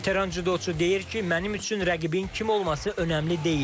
Veteran cüdoçu deyir ki, mənim üçün rəqibin kim olması önəmli deyil.